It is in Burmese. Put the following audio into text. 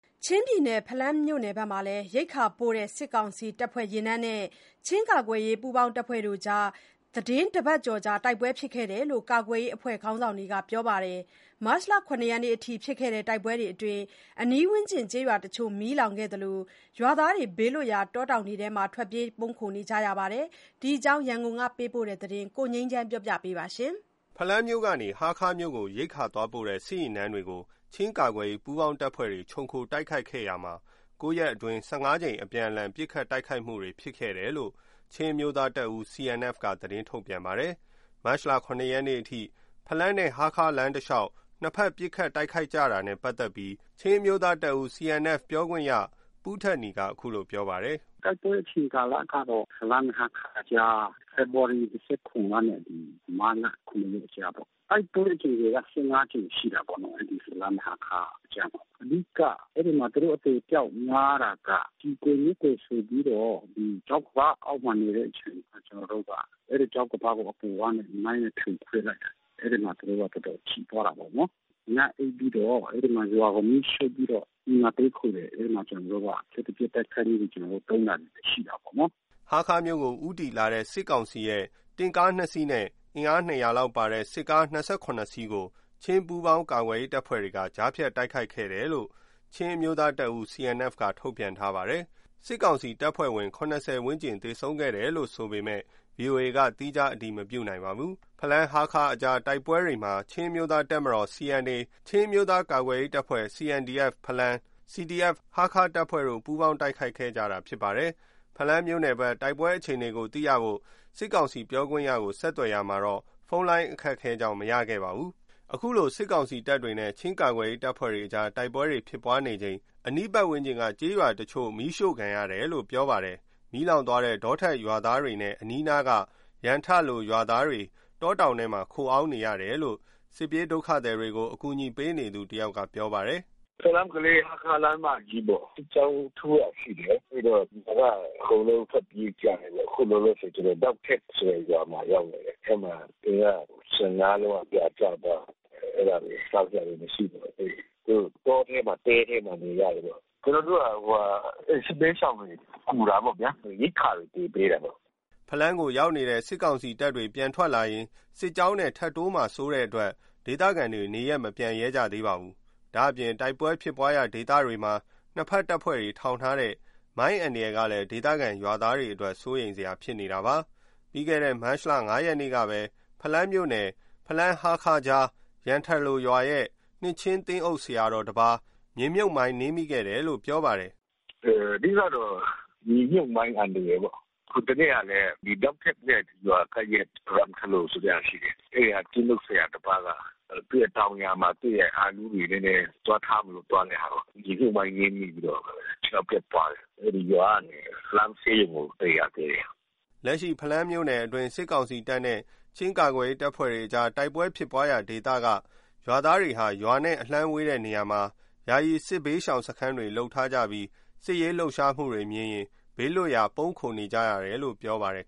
ချင်းပြည်နယ် ဖလမ်းမြို့နယ်ဘက်မှာ ရိက္ခာပို့တဲ့ စစ်ကောင်စီတပ်ဖွဲ့ယာဉ်တန်းနဲ့ ချင်းကာကွယ်ရေးပူးပေါင်းအဖွဲ့တို့ သီတင်းတပတ်ကျော်ကြာ တိုက်ပွဲတွေဖြစ်ခဲ့တယ်လို့ ကာကွယ်ရေးအဖွဲ့ခေါင်းဆောင်တွေကပြောပါတယ်။ မတ်လ ၇ ရက်နေ့အထိ ဖြစ်ခဲ့တဲ့တိုက်ပွဲတွေအတွင်း အနီးဝန်းကျင်ကျေးရွာတချို့ မီးလောင်ခဲ့သလို ရွာသားတွေ ဘေးလွတ်ရာ တောတောင်တွေထဲမှာ ထွက်ပြေး ပုန်းခိုနေကြရပါတယ်။ ဒီအကြောင်း ရန်ကုန်ကပေးပို့တဲ့သတင်းကို ကိုငြိမ်းချမ်းက တင်ပြပေးထားပါတယ်။ ဖလမ်းမြို့ကနေ ဟားခါးမြို့ကို ရိက္ခာသွားပို့တဲ့ စစ်ယာဉ်တန်းတွေကို ချင်းကာကွယ်ရေးပူးပေါင်းတပ်ဖွဲ့တွေ ခြုံခိုတိုက်ခိုက်ခဲ့တာမှာ ၉ ရက်အတွင်း ၁၅ ကြိမ် အပြန်အလှန် ပစ်ခတ်တိုက်ခိုက်ခဲ့ကြတယ်လို့ ချင်းအမျိုးသားတပ်ဦး CNF က သတင်း ထုတ်ပြန်ပါတယ်။ မတ်လ ၇ ရက်နေ့ အထိ ဖလမ်းနဲ့ ဟားခါးလမ်းတလျှောက် နှစ်ဘက်ပစ်ခတ်တိုက်ခိုက်ခဲ့ကြတာနဲ့ ပတ်သက်လို့ ချင်းအမျိုးသားတပ်ဦး CNF ပြောရေးဆို ခွင့်ရှိသူ ပူးထက်နီက အခုလိုပြောပါတယ်။ “တိုက်ပွဲအချိန်ကာလကတော့ ဖလမ်း-ဟားခါးကြား ဖေဖော်ဝါရီ (၂၇) ကနေ မတ်လ (၇) ရက်နေ့ ကြားပေါ့။ တိုက်ပွဲ အကြိမ်ရေက (၁၅) ကြိမ်ရှိတာပေါ့။ အဲဒီဖလမ်း-ဟားခါးကြားမှာ။ အဓိက သူတို့ အသေအပျောက်များတာက ကျည်ကွယ် မျက်ကွယ်ဆိုပြီးတော့ ချောက်ကမ်းပါးအောက်မှာနေတဲ့အချိန် ကျနော်တို့က အဲဒီချောက်ကမ်းပါးအပေါ်ကနေ မိုင်းနဲ့ ဖြိုခွင်းလိုက်တာ။ အဲဒီမှာ သူတို့က တော်တော်ထိသွားတာပေါ့နော်။ ညအိပ်ပြီးတော့ အဲဒီမှာ ရွာကို မီးရှို့ပြီးတော့ အဲဒီမှာတည်းခိုတယ်။ အဲဒီမှာ ကျနော်တို့က လျှပ်တပြက်တိုက်ခိုက်ပြီး သိမ်းတာရှိတာပေါ့နော်။’’ ဟားခါးမြို့ကို ဦးတည်လာတဲ့ စစ်ကောင်စီတပ်ရဲ့ တင့်ကားနှစ်စီးနဲ့ အင်အား ၂၀၀ လောက်ပါတဲ့ စစ်ကား ၂၇ စီးကို ချင်း ပူးပေါင်းကာကွယ်ရေးတပ်ဖွဲ့က ကြားဖြတ်တိုက်ခိုက်ခဲ့တယ်လို့ ချင်းအမျိုးသားတပ်ဦး (CNF) က ထုတ်ပြန်ထားပါတယ်။ စစ်ကောင်စီတပ်ဖွဲ့ဝင် ၇၀ ဝန်းကျင် သေ ဆုံးခဲ့တယ်လို့ဆိုပေမဲ့ ဗွီအိုအေကတော့ သီးခြားအတည်မပြုနိုင်ပါဘူး။ ဖလမ်း-ဟားခါးအကြား တိုက်ပွဲတွေမှာ ချင်းအမျိုးသားတပ်မတော် (CNA)၊ ချင်းအမျိုးသားကာကွယ်ရေးတပ်ဖွဲ့ (CNDF)ဖလမ်း၊ CDF-Hakha တပ်ဖွဲ့တို့ ပူးပေါင်းတိုက်ခိုက်ခဲ့ကြတာဖြစ်ပါတယ်။ ဖလမ်းမြို့နယ်ဘက် တိုက်ပွဲအခြေအနေကိုသိရဖို့ စစ်ကောင်စီပြောခွင့်ရကို ဆက်သွယ်ရာမှာတော့ ဖုန်းလိုင်းအခက်ခဲကြောင့် မရခဲ့ပါဘူး။ အခုလို စစ်ကောင်စီတပ်တွေနဲ့ ချင်းကာကွယ်ရေးတပ်တွေကြား တိုက်ပွဲတွေဖြစ်နေချိန် အနီးဝန်းကျင်က ကျေးရွာတချို့ မီးရှို့ခံရတယ်လို့ ပြောပါတယ်။ မီးလောင်သွားတဲ့ ဒေါထက် (ဒုတ်ထက်) ရွာသားတွေနဲ့အနီးနားက ရမ်ထလိုရွာသားတွေ တောတောင်ထဲမှာ ခိုအောင်းနေရတယ်လို့ စစ်ပြေးဒုက္ခသည်တွေကို အကူအညီပေးနေသူတယောက်က ပြောပါတယ်။ “ဖလမ်း-ကလေး-ဟားခါးလမ်းမကြီးပေါ်မှာ စစ်ကြောင်းထိုးတာရှိပြီးတော့ ဟိုကအကုန်လုံးထွက်ပြေးကြတယ်ပေါ့။ အခုလောလောဆယ်ကျွန်တော်က ဒုတ်ထက်ဆိုတဲ့ရွာမှာရောက်နေတယ်။ အဲဒီမှာ အိမ်က (၁၅) လုံးလောက်ပြာကျသွားပြီး။ အဲဒါ စားစရာမရှိလို့သွားပေးတာ။ သူတို့တောထဲမှာ တဲထဲမှာနေရတယ်ပေါ့။ ကျနော်တို့ အဲဒီစစ်ဘေးရှောင်တွေကို ကူတာပေါ့ဗျာ။ ရိက္ခာတွေ ကူပေးတာပေါ့။” ဖလမ်းကိုရောက်နေတဲ့ စစ်ကောင်စီတပ်တွေ ပြန်ထွက်လာရင် စစ်ကြောင်းနဲ့ ထပ်တိုးမှာစိုးလို့ ဒေသခံတွေ နေရပ်မပြန်ရဲကြသေးပါဘူး။ ဒါ့အပြင် တိုက်ပွဲဖြစ်ပွါးတဲ့ဒေသတွေမှာ နှစ်ဘက်တပ်ဖွဲ့တွေထောင်ထားတဲ့ မိုင်းအန္တရာယ်ကလည်း ဒေသခံရွာသားတွေအတွက် စိုးရိမ်စရာဖြစ်နေတာပါ။ ပြီးခဲ့တဲ့မတ်လ (၅) ရက်နေ့ကပဲ ဖလမ်းမြို့နယ် ဖလမ်း-ဟားခါးကြား ရမ်ထလိုရွာရဲ့ နှစ်ခြင်းသင်းအုပ်ဆရာတော်တပါး မြေမြှုပ်မိုင်းနင်းမိခဲ့တယ်လို့ ပြောပါတယ်။ “အဓိကတော့ မြေမြှုပ်မိုင်းအန္တရာယ်ပေါ့။ ဟိုတနေ့က ဒုတ်ထက်ရွာရဲ့... ရမ်ထလိုရွာဆိုတာရှိတယ်။ အဲဒီဟာ သင်းအုပ်ဆရာတပါးက သူ့ရဲ့တောင်ယာမှာ သူရဲ့အာလူးတွေနည်းနည်း သွားထားမလို့သွားတဲ့ဟာကို မြေမြှုပ်မိုင်းနင်း မိပြီးတော့ ခြေထောက်ပြတ်သွားတယ်။ အဲဒီရွာကနေ ဖလမ်းဆေးရုံကို သယ်ရသေးတယ်။ ’’ လက်ရှိ ဖလမ်းမြို့နယ်အတွင်း စစ်ကောင်စီတပ်နဲ့ ချင်းကာကွယ်ရေးအဖွဲ့တို့ တိုက်ပွဲဖြစ်ပွါးရာဒေသကရွာသားတွေဟာ ရွာနဲ့အလှမ်းဝေးတဲ့နေရာမှာ ယာယီစစ်ဘေးရှောင်စခန်းတွေ လုပ်ထားကြပြီး စစ်ရေးလှုပ်ရှားမှုတွေ မြင်ရရင် ဘေးလွတ်တဲ့အထိ ပုန်းခိုကြရတယ်လို့ ပြောပါတယ်